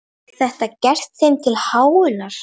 Er þetta gert þeim til háðungar?